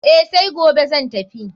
Eh, sai gobe zan tafi.